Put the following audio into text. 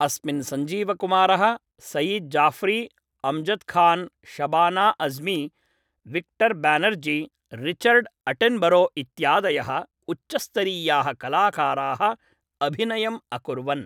अस्मिन् सञ्जीवकुमारः, Sayeed Jaffrey, Amjad Khan, Shabana Azmi, Victor Banerjee, Richard Attenborough इत्यादयः उच्चस्तरीयाः कलाकाराः अभिनयम् अकुर्वन्।